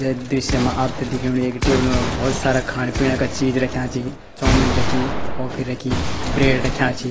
ये दृश्य मा आपथे दिखेणु एक टेबल मा भोत सारा खाण पीणा का चीज रख्याँ छी चोमिन रखीं कॉफ़ी रखीं ब्रेड रख्याँ छि।